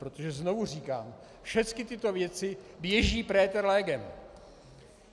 Protože znovu říkám, všechny tyto věci leží preater legem.